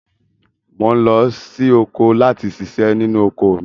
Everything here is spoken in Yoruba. Mo ń lọ sí oko láti ṣiṣẹ́ nínú oko mi